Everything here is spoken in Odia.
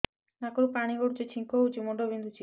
ନାକରୁ ପାଣି ଗଡୁଛି ଛିଙ୍କ ହଉଚି ମୁଣ୍ଡ ବିନ୍ଧୁଛି